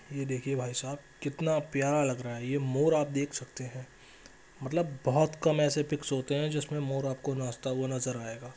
ये देखिए भाईसाब कितना प्यारा लग रहा है ये मोर आप देख सकते है मतलब बहुत कम ऐसे पिक्स होते है जो आपको मोर नाचता हुआ नजर आयेगा।